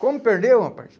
Como perdeu, rapaz?